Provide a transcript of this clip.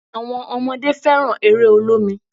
Àwọn ọmọdé fẹ́ràn eré olómi